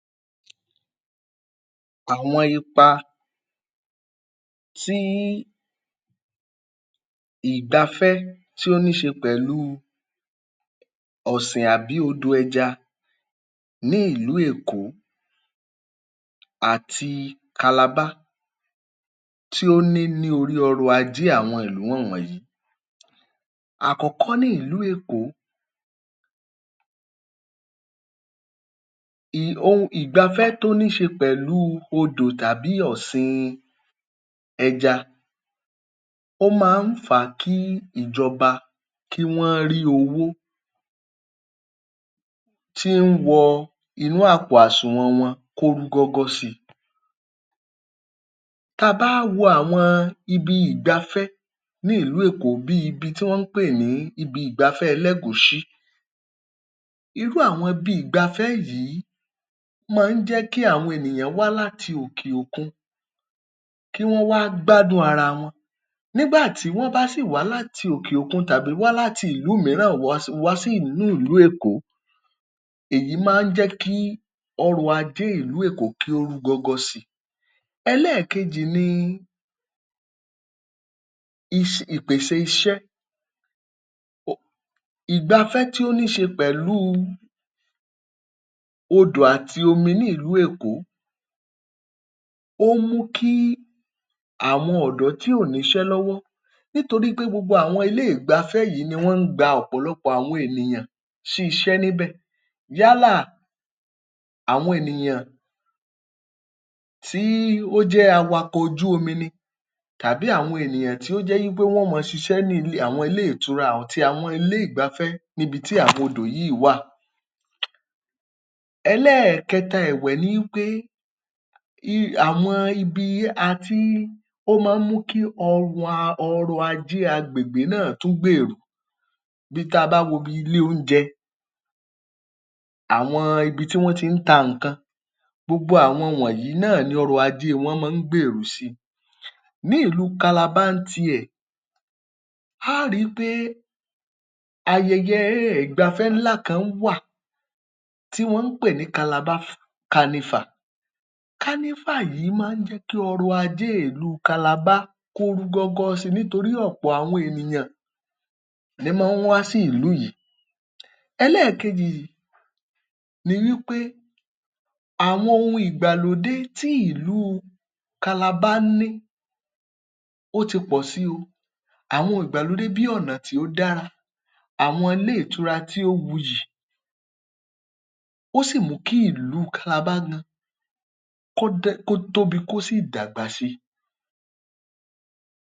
Ní àwọn ìpínlẹ̀ tí ń bẹ ní àríwá orílẹ̀-èdè Nàìjíríà, ipa ńlá tó jọjú ni ọ̀sìn ẹja ni ó ti ní ní àwọn ìgbèríko wọn. Alákọ̀ọ́kọ́ tí a lè pè ní ipa yìí òhun ni, ọrọ̀-ajé sí i. Iṣẹ́ ọ̀gbìn tàbí iṣẹ́ ọ̀sìn ẹja ni ó máa ń mú kí àwọn àgbẹ̀ ní àwọn ìgbèríko yìí, kí wọ́n máa ń ní owó lọ́wọ́. Èyí sì máa ń fà á, ó sì máa ń fa kí àìní, kí ó kúrò ní irú àwọn agbègbè yìí jọjọ. Ẹlẹ́ẹ̀kejì tí ó súnmọ́ ọn ni wí pé, ọ̀pọ̀lọpọ̀ àwọn ènìyàn ni ọ̀sìn ẹja jẹ́ oríṣi iṣẹ́ fún. Ọ̀pọ̀lọpọ̀ wọn ni wọ́n ti di ẹni tí ń dá iṣẹ́ ara wọn sílẹ̀; tí wọ́n sì di ẹni tí ń ní iṣẹ́ lọ́wọ́. Ipa tí ọ̀sìn ẹja tún ní òhun ni ti bíbàṣírí oúnjẹ. Ẹja jíjẹ jẹ́ orísun oúnjẹ fún àwọn ará Òkè Ọya pàápàá jùlọ ní àwọn ìlú kéréje kéréje tí wọn ò ti rí owó ra ẹran, tó sì jẹ́ pé wọn kì í rí ọwọ́ họrí. Irú àwọn wọ̀nyìí ni wọ́n ti máa ń jẹja lọ́pọ̀lọpọ̀. Ẹlẹ́ẹ̀kẹta ni mo pè ní oore-ọ̀fẹ́ iṣẹ́. Ọ̀sìn ẹja jẹ́ oríṣi iṣẹ́. Oríṣiríṣi iṣẹ́ ni ó ń ti ara ọ̀sìn ẹja jáde. Ọ̀pọ̀lọpọ̀ tiẹ̀ ni wọ́n ń ṣiṣẹ́ agbẹ́dò. Ọ̀pọ̀lọpọ̀ ní tiwọn, iṣẹ́ ẹja títà ni wọ́n ń ṣe. A ó ri pé, àwọn iṣẹ́ yìí láìsí ọ̀sìn ẹja, kò sí bí àwọn irú iṣẹ́ yìí, bó ṣe le jẹyọ. Ẹni, èyí tí ó tún jẹ́ àwọn àǹfààní ohun ni ìfọwọ́sowọ́pọ̀ láàrin àwọn àgbẹ̀, tí wọ́n sì ń ṣe ètò ìyánilówó fún ara wọn. Ọ̀pọ̀lọpọ̀ àwọn àgbẹ̀ ni wọn ò máa tọ báńkì lọ láti lọ máa yáwó nítorí pé wọ́n ń ṣe ètò tí a mọ̀ sí ètò adójútòfò, tí àwọn, tí wọ́n ń pè ní cooperative lédè Gẹ̀ẹ́sì. Ọ̀sìn ẹja, ó ní àwọn ohun tó ṣe patàkì tó ti ṣe ní, láti rán ìdàgbàsókè Òkè Ọya lọ́wọ́ ní orílẹ̀-èdè Nàìjíríà.